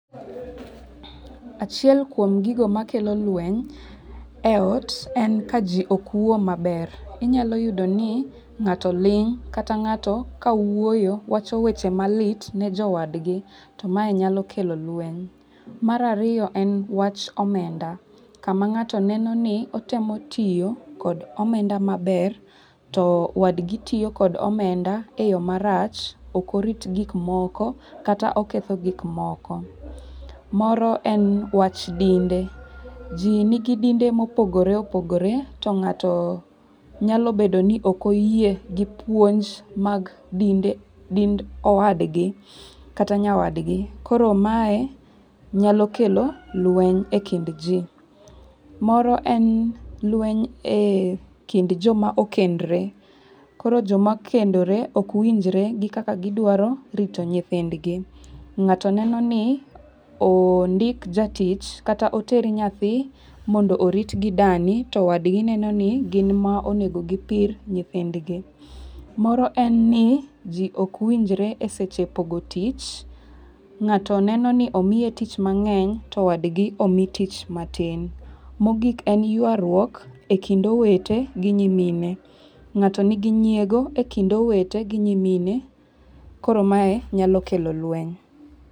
Achiel kuom gigo makelo lweny e ot en ka ji ok wuo maber. Inyalo yudo ni ng'ato ling' kata ng'ato ka wuoyo wacho weche malit ne jowadgi. To mae nyalo kelo lweny. Mar ariyo en wach omenda. Kama ng'ato neno ni otemo tiyo kod omenda maber, to wadgi tiyo kod omenda e yo marach, ok orit gik moko kata oketho gik moko. Moro en wach dinde. Ji nigi dinde mopogore opogore, to ng'ato nyalo bedo ni ok oyie gi puonj mag dinde dind owadgi kata nyawadgi. Koro mae nyalo kelo lweny e kind ji. Moro en lweny e kind jo ma okendre. Koro joma okendore okwinjre gi kaka gidwaro rito nyithindgi. Ng'ato neno ni ondik jatich kata oter nyathi mondo orit gi dani, to wadgi neno ni gin ma onego gipir nyithindgi. Moro en ni ji okwinjre e seche pogo tich. Ng'ato neno ni omiye tich mang'eny to wadgi omi tich matin. Mogik en ywaruok e kind owete gi nyimine. Ng'ato nigi nyiego e kind owete gi nyimine. Koro mae nyalo kelo lweny.